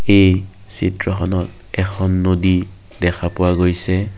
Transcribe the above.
এই চিত্ৰখনত এখন নদী দেখা পোৱা গৈছে।